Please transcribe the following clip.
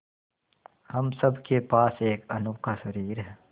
हम सब के पास एक अनोखा शरीर है